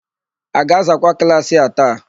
A ga-azakwa klaasị a taa?